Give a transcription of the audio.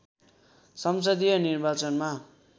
संसदीय निर्वाचनमा